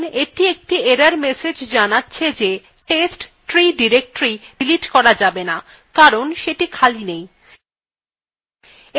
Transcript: দেখুন এটি একটি error message জানাচ্ছে see testree directory ডিলিট করা যাবে না কারণ সেটি খালি নেই